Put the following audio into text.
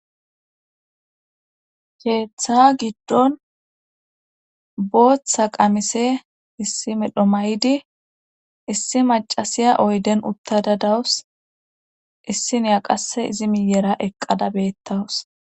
keeththa giddon booththa qamise issi medho maydi issi macasiya oyden uttada dawus issi niya qasse izi miyera eqqada beettawus